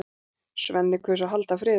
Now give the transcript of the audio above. Svenni kaus að halda friðinn.